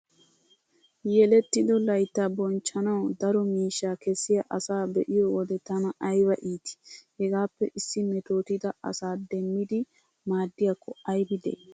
Yelettido layttaa bonchchanawu daro miishshaa kessiya asaa be'iyo wode tana ayba iitii! Hegaappe issi metootida asa demmidi maaddiyakko aybi de'ii?